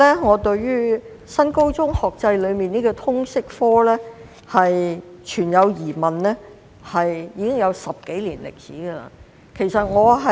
我對於新高中學制的通識教育科存有疑問，已有10多年之久。